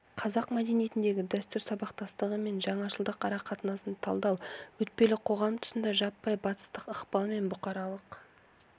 қазақ мәдениетіндегі дәстүр сабақтастығы мен жаңашылдық арақатынасын талдау өтпелі қоғам тұсында жаппай батыстық ықпал мен бұқаралық